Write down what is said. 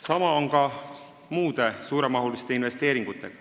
Samamoodi on muude suurte investeeringutega.